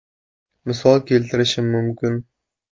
Misol keltirishim mumkin.